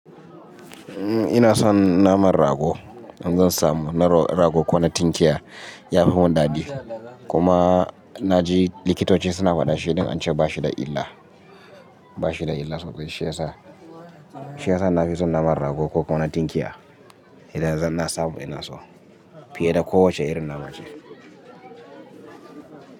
Ina son naman rago. In zan samu na rago ko na tinkiya ya fi mun dadi. Kuma na ji likitoci suna faɗa shi don an ce ba shi da illa, ba shi da illa sosai. Shi ya sa, shi ya sa na fi son naman rago ko kuma na tinkiya idan zan na samu ina so fiye da kowace irin nama ce.